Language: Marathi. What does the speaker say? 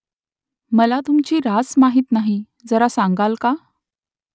मला तुमची रास माहीत नाही जरा सांगाल का ?